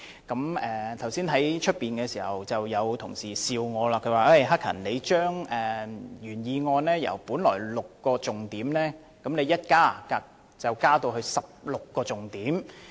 剛才在會議廳外，有同事跟我笑說，我提出的修正案將原議案的6個重點增加至16個重點。